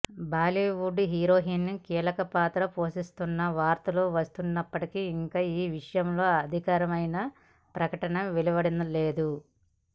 Bollywood heroine కీలక పాత్ర పోషిస్తున్న వార్తలు వస్తున్నప్పటికీ ఇంకా ఈ విషయంలో అధికారకమైన ప్రకటన వెలువడలేదు